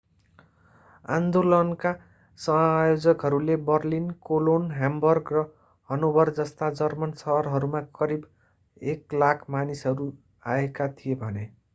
आन्दोलनका आयोजकहरूले Berlin Cologne Hamburg र हनोभर जस्ता जर्मन शहरहरूमा करिब 100,000 मानिसहरू आएका थिए भने